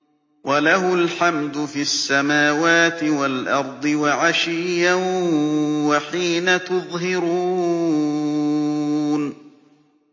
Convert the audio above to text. وَلَهُ الْحَمْدُ فِي السَّمَاوَاتِ وَالْأَرْضِ وَعَشِيًّا وَحِينَ تُظْهِرُونَ